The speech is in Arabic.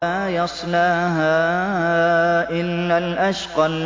لَا يَصْلَاهَا إِلَّا الْأَشْقَى